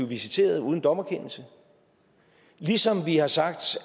visiteret uden dommerkendelse og ligesom vi har sagt